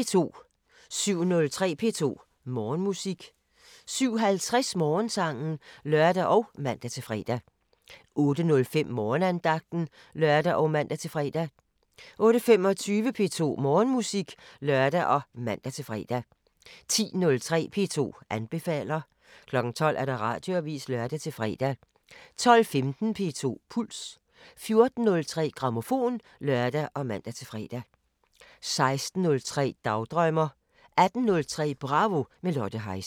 07:03: P2 Morgenmusik 07:50: Morgensangen (lør og man-fre) 08:05: Morgenandagten (lør og man-fre) 08:25: P2 Morgenmusik (lør og man-fre) 10:03: P2 anbefaler 12:00: Radioavisen (lør-fre) 12:15: P2 Puls 14:03: Grammofon (lør og man-fre) 16:03: Dagdrømmer 18:03: Bravo – med Lotte Heise